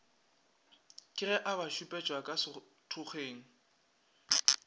keg e abašupetša ka sethokgweng